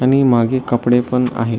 आणि मागे कपडे पण आहे.